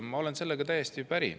Ma olen sellega täiesti päri.